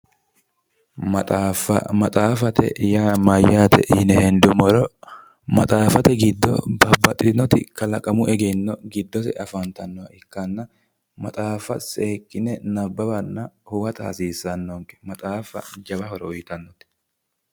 Maxaaffa. Maxaaffate yaa mayyaate yine hendummoro maxaaffa babbaxxitinoti kalaqamu egenno giddose afantannoha ikkanna maxaaffa seekkine nabbawanna huwata hasiissannonke. Maxaaffa lowo horo uyitannonke.